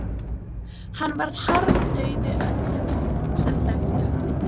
Hann varð harmdauði öllum sem þekktu hann.